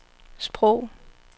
sprog